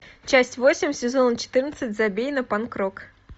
часть восемь сезона четырнадцать забей на панк рок